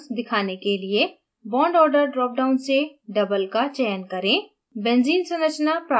double bonds दिखाने के लिए bond order drop down से double का चयन करें